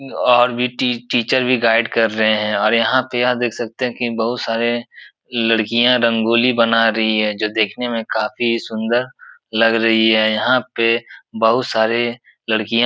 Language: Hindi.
और भी टी टीचर भी गाइड कर रहे हैं और यहाँ पे यह देख सकते हैं कि बहुत सारे लड़कियाँ रगोंली बना रही हैं जो देखने में काफी सुन्दर लग रही है। यहाँ पे बहुत सारे लड़कियाँ --